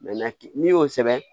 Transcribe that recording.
n'i y'o sɛbɛn